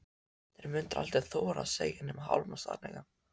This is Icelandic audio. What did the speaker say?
Þeir myndu aldrei þora að segja nema hálfan sannleikann.